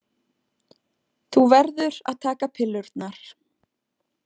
Þú verður að taka pillurnar.